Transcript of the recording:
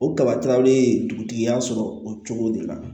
O kaba kalali dugutigi y'a sɔrɔ o cogo de la